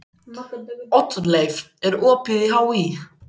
Oddleif, er opið í HÍ?